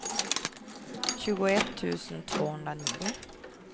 tjugoett tusen tvåhundranio